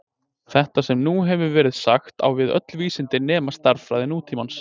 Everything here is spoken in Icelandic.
Þetta sem nú hefur verið sagt á við öll vísindi nema stærðfræði nútímans.